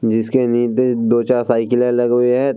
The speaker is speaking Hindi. जिसके नीदे दो-चार साइकिले लगी हुई है।